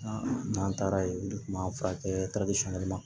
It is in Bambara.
N'an taara ye olu kun b'an furakɛ